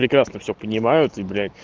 прекрасно все понимают и бля